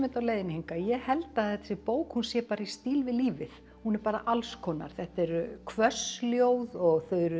á leiðinni hingað ég held að þessi bók sé bara í stíl við lífið hún er alls konar þetta eru hvöss ljóð og